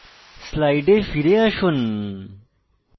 slides ফিরে আসুন